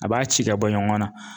A b'a ci ka bɔ ɲɔgɔn na